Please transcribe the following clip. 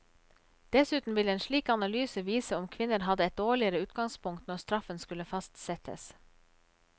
Dessuten vil en slik analyse vise om kvinner hadde et dårligere utgangspunkt når straffen skulle fastsettes.